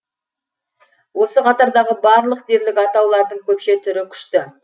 осы қатардағы барлық дерлік атаулардың көпше түрі күшті